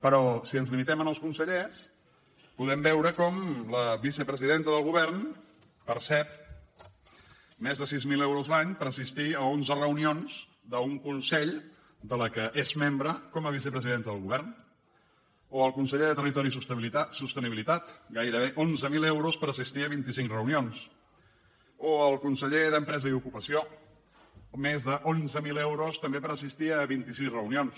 però si ens limitem als consellers podem veure com la vicepresidenta del govern percep més de sis mil euros l’any per assistir a onze reunions d’un consell de què és membre com a vicepresidenta del govern o el conseller de territori i sostenibilitat gairebé onze mil euros per assistir a vint cinc reunions o el conseller d’empresa i ocupació més d’onze mil euros també per assistir a vint sis reunions